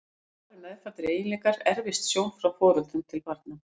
Eins og aðrir meðfæddir eiginleikar erfist sjón frá foreldrum til barna.